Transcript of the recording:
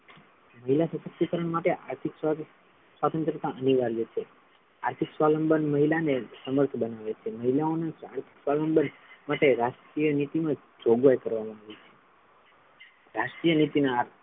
મહિલા સશક્તિકરણ માટે આર્થિક સ્વતંત્રતા અનિવાર્ય છે આર્થિક સ્વાવલંબન મહિલા ને સમર્થ બનાવે છે મહિલાઓ ને આર્થિક સ્વાવલંબન માટે રાષ્ટ્રીયનીતિમાં જોગવાઈ કરવામા આવી છે રાષ્ટ્રીય નીતિ ના,